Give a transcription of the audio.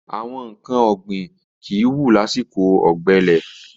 Àwọn nǹkan ọ̀gbìn kìí wù lásìkò ọ̀gbẹlẹ̀.